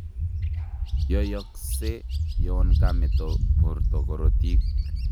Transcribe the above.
Yoiyoksee yoon kameeto borto korotiik